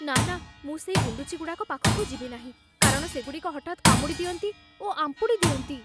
ନା ନା, ମୁଁ ସେଇ ଗୁଣ୍ଡୁଚିଗୁଡ଼ାକ ପାଖକୁ ଯିବି ନାହିଁ କାରଣ ସେଗୁଡ଼ିକ ହଠାତ୍ କାମୁଡ଼ିଦିଅନ୍ତି ଓ ଆମ୍ପୁଡ଼ିଦିଅନ୍ତି।